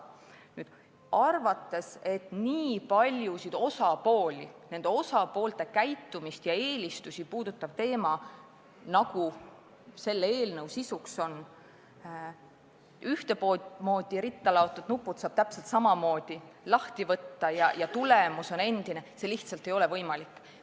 Kui arvatakse, et nii paljusid osapooli, nende osapoolte käitumist ja eelistusi puudutava teema puhul, nagu selle eelnõu sisu on, saab ühtemoodi üksteise otsa laotud nupud täpselt samamoodi lahti võtta ja tulemus on endine seis – see lihtsalt ei ole võimalik.